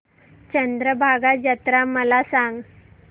चंद्रभागा जत्रा मला सांग